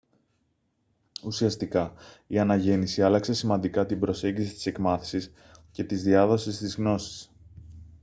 ουσιαστικά η αναγέννηση άλλαξε σημαντικά την προσέγγιση της εκμάθησης και της διάδοσης της γνώσης